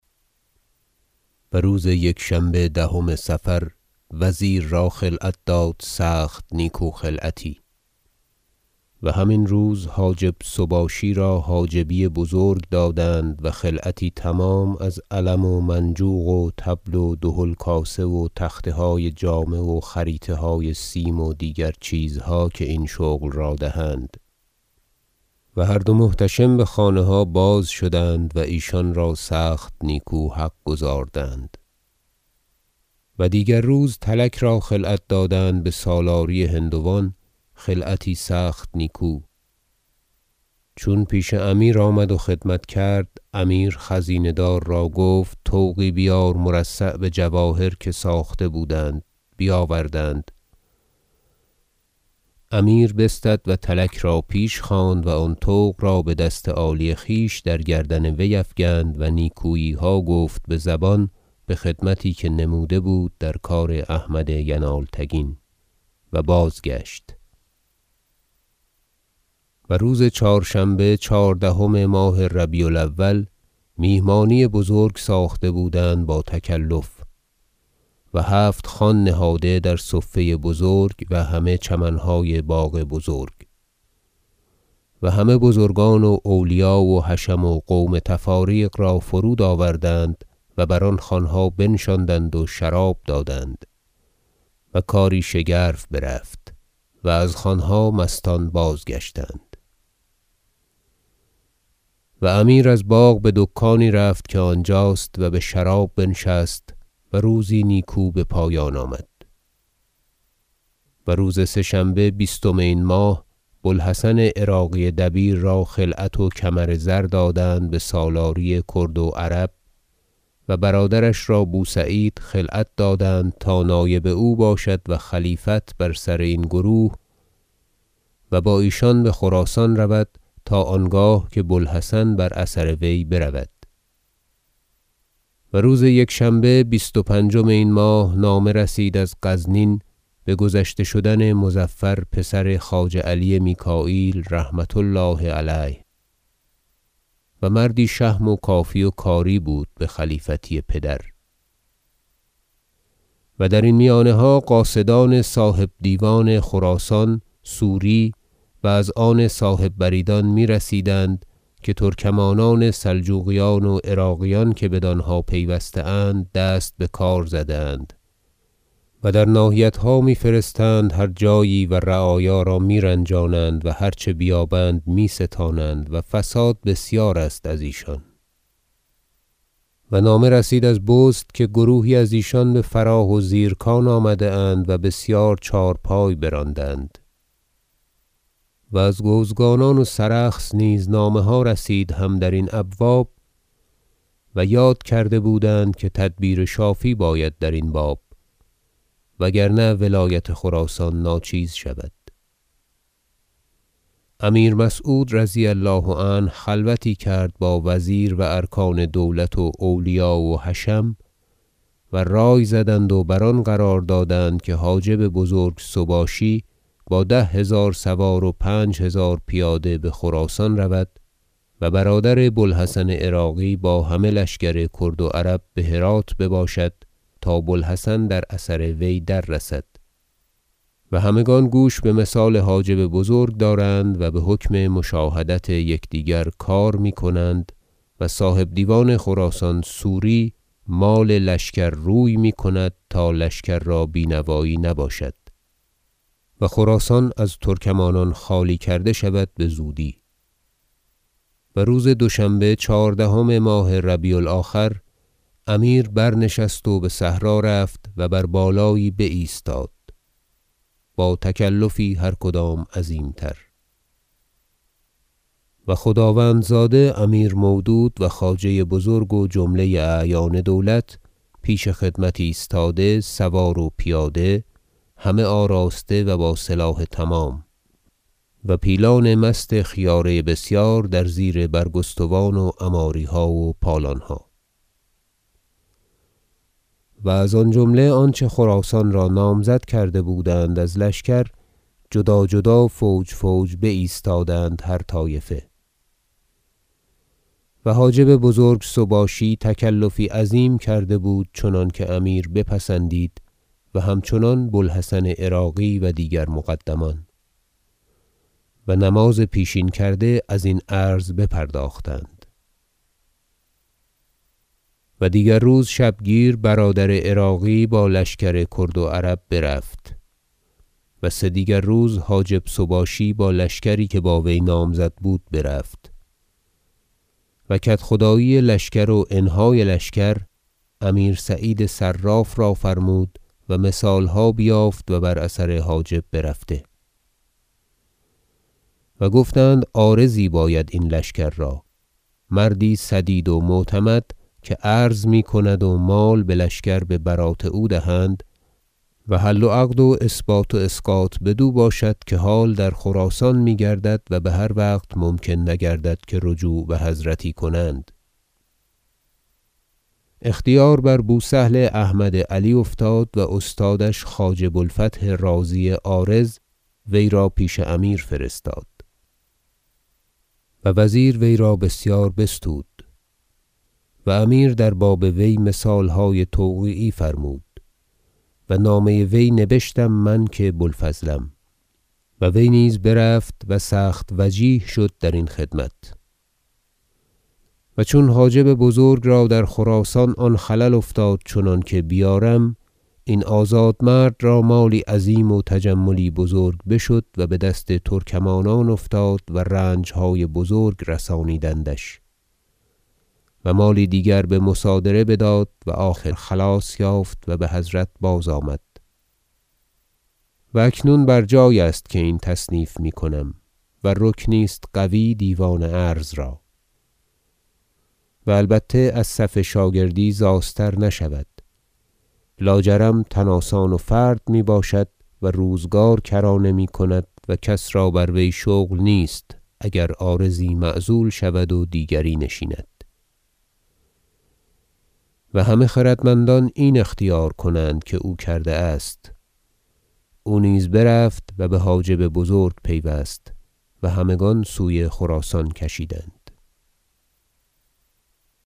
و روز یکشنبه دهم صفر وزیر را خلعت داد سخت نیکو خلعتی و همین روز حاجب سباشی را حاجبی بزرگ دادند و خلعتی تمام از علم و منجوق و طبل و دهل کاسه و تختهای جامه و خریطه های سیم و دیگر چیزها که این شغل را دهند و هر دو محتشم بخانه ها بازشدند و ایشان را سخت نیکو حق گزاردند و دیگر روز تلک را خلعت دادند بسالاری هندوان خلعتی سخت نیکو چون پیش امیر آمد و خدمت کرد امیر خزینه دار را گفت طوقی بیار مرصع بجواهر که ساخته بودند بیاوردند امیر بستد و تلک را پیش خواند و آن طوق را بدست عالی خویش در گردن وی افکند و نیکوییها گفت بزبان بخدمتی که نموده بود در کار احمد ینالتگین و بازگشت و روز چهارشنبه چهاردهم ماه ربیع الأول میهمانی بزرگ ساخته بودند با تکلف و هفت خوان نهاده در صفه بزرگ و همه چمنهای باغ بزرگ و همه بزرگان و اولیا و حشم و قوم تفاریق را فرود آوردند و بر آن خوانها بنشاندند و شراب دادند و کاری شگرف برفت و از خوانها مستان بازگشتند و امیر از باغ بدکانی رفت که آنجاست و بشراب بنشست و روزی نیکو بپایان آمد و روز سه شنبه بیستم این ماه بوالحسن عراقی دبیر را خلعت و کمر زر دادند بسالاری کرد و عرب و برادرش را بوسعید خلعت دادند تا نایب او باشد و خلیفت بر سر این گروه و با ایشان بخراسان رود تا آنگاه که بوالحسن بر اثر وی برود و روز یکشنبه بیست و پنجم این ماه نامه رسید از غزنین بگذشته شدن مظفر پسر خواجه علی میکاییل رحمة الله علیه و مردی شهم و کافی و کاری بود بخلیفتی پدر و درین میانها قاصدان صاحب دیوان خراسان سوری و از آن صاحب بریدان میرسیدند که ترکمانان سلجوقیان و عراقیان که بدانها پیوسته اند دست بکار زده اند و در ناحیتها میفرستند هر جایی و رعایا را میرنجانند و هر چه بیابند می ستانند و فساد بسیار است از ایشان و نامه رسید از بست که گروهی از ایشان بفراه و زیرکان آمدند و بسیار چهارپای براندند و از گوزگانان و سرخس نیز نامه ها رسید هم درین ابواب و یاد کرده بودند که تدبیر شافی باید درین باب و اگر نه ولایت خراسان ناچیز شود امیر مسعود رضی الله عنه خلوتی کرد با وزیر و ارکان دولت و اولیا و حشم و رای زدند و بر آن قرار دادند که حاجب بزرگ سباشی با ده هزار سوار و پنجهزار پیاده بخراسان رود و برادر بوالحسن عراقی با همه لشکر کرد و عرب بهرات بباشد تا بوالحسن در اثر وی دررسد و همگان گوش بمثال حاجب بزرگ دارند و بحکم مشاهدت یکدیگر کار میکنند و صاحب دیوان خراسان سوری مال لشکر روی میکند تا لشکر را بینوایی نباشد و خراسان از ترکمانان خالی کرده شود بزودی و روز دوشنبه چهاردهم ماه ربیع الآخر امیر برنشست و بصحرا رفت و بر بالایی بایستاد با تکلفی هر کدام عظیم تر و خداوندزاده امیر مودود و خواجه بزرگ و جمله اعیان دولت پیش خدمت ایستاده سوار و پیاده همه آراسته و با سلاح تمام و پیلان مست خیاره بسیار در زیر برگستوان و عماریها و پالانها و از آن جمله آنچه خراسان را نامزد بودند از لشکر جدا جدا فوج فوج بایستادند هر طایفه و حاجب بزرگ سباشی تکلفی عظیم کرده بود چنانکه امیر بپسندید و همچنان بوالحسن عراقی و دیگر مقدمان و نماز پیشین کرده از این عرض بپرداختند و دیگر روز شبگیر برادر عراقی با لشکر کرد و عرب برفت و سدیگر روز حاجب سباشی با لشکری که با وی نامزد بود برفت و کدخدایی لشکر وانهای لشکر امیر سعید صراف را فرمود و مثالها بیافت و بر اثر حاجب برفت و گفتند عارضی باید این لشکر را مردی سدید و معتمد که عرض میکند و مال بلشکر ببرات او دهند و حل و عقد و اثبات و اسقاط بدو باشد که حال در خراسان میگردد و بهر وقت ممکن نگردد که رجوع بحضرت کنند اختیار بر بوسهل احمد علی افتاد و استادش خواجه بوالفتح رازی عارض وی را پیش امیر فرستاد و وزیر وی را بسیار بستود و امیر در باب وی مثالهای توقیعی فرمود و نامه وی نبشتم من که بوالفضلم و وی نیز برفت و سخت وجیه شد در این خدمت و چون حاجب بزرگ را در خراسان آن خلل افتاد چنانکه بیارم این آزاد مرد را مالی عظیم و تجملی بزرگ بشد و بدست ترکمانان افتاد و رنجهای بزرگ رسانیدندش و مالی دیگر بمصادره بداد و آخر خلاص یافت و بحضرت بازآمد و اکنون بر جای است که این تصنیف میکنم و رکنی است قوی دیوان عرض را و البته از صف شاگردی زاستر نشود لاجرم تن آسان و فرد میباشد و روزگار کرانه میکند و کس را بر وی شغل نیست اگر عارضی معزول شود و دیگری نشنید و همه خردمندان این اختیار کنند که او کرده است او نیز برفت و بحاجب بزرگ پیوست و همگان سوی خراسان کشیدند